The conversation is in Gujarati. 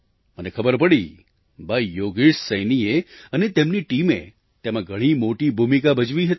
મને ખબર પડી ભાઈ યોગેશ સૈનીએ અને તેમની ટીમે તેમાં ઘણી મોટી ભૂમિકા ભજવી હતી